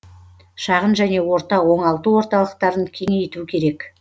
шағын және орта оңалту орталықтарын кеңейту керек